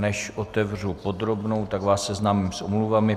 Než otevřu podrobnou, tak vás seznámím s omluvami.